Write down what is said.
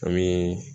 An bɛ